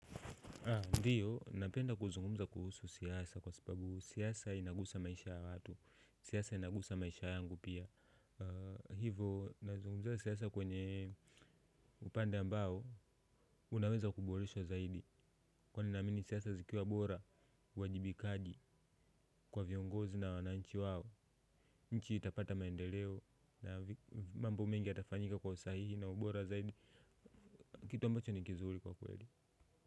Ndiyo, napenda kuzungumza kuhusu siasa kwa sababu siasa inaguza maisha ya watu, siasa inaguza maisha yangu pia. Hivo, nazungumzia siasa kwenye upande ambao, unaweza kuboresha zaidi. Huwa ninaamini siasa zikiwa bora, uajibikaji, kwa viongozi na wananchi wao, nchi itapata maendeleo, na mambo mengi yatafanyika kwa usahihi na ubora zaidi, kitu ambacho ni kizuri kwa kweli.